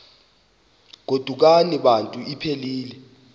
godukani bantu iphelil